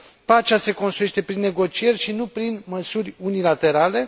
Pacea se construiește prin negocieri și nu prin măsuri unilaterale.